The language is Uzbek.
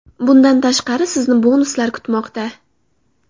Bundan tashqari, sizni bonuslar kutmoqda!